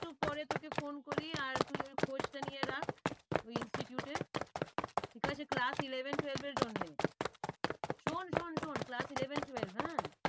একটু পরে তোকে phone করি আর তুই ওই খোঁজটা নিয়ে রাখ ওই institute এর ঠিক আছে class eleven twelve এর জন্যে শোন শোন শোন class eleven twelve হ্যাঁ